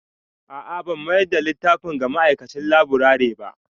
A'a ban mayar da littafin ga ma'aikacin laburare ba